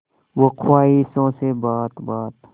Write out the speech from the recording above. हो ख्वाहिशों से बात बात